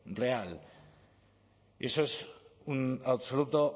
real y eso es un absoluto